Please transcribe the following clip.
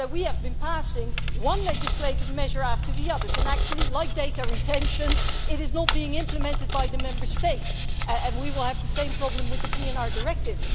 I said that we have been passing one legislative measure after another and actually, like data retention, it is not being implemented by the Member States, and we will have the same problem with the PNR Directive.